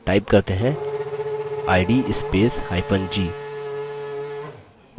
type करते हैं id spacehyphen g